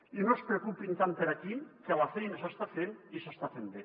i no es preocupin tant per aquí que la feina s’està fent i s’està fent bé